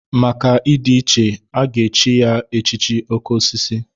Maka ịdị iche, a ga-echi ya echichi oké osisi.